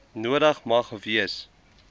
nodig mag wees